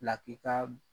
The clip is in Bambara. Lakika